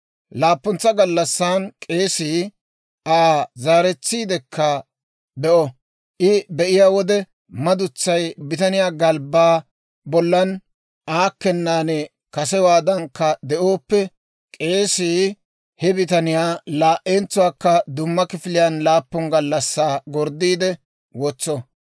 Laappuntsa gallassan k'eesii Aa zaaretsiidekka be'o; I be'iyaa wode madutsay bitaniyaa galbbaa bollan aakkennan kasewaadankka de'ooppe, k'eesii he bitaniyaa laa"entsuwaakka dumma kifiliyaan laappun gallassaa gorddiide wotso.